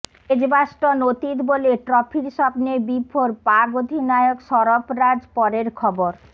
Edgbaston অতীত বলে ট্রফির স্বপ্নে বিভোর পাক অধিনায়ক সরফরাজ পরের খবর